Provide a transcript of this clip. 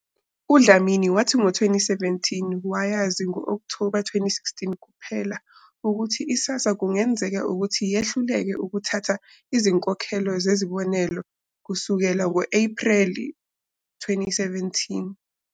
UDlamini wathi ngo-2017 wayazi ngo-Okthoba 2016 kuphela ukuthi iSASSA kungenzeka ukuthi yehluleke ukuthatha izinkokhelo zezibonelelo kusukela ngo-Ephreli 2017.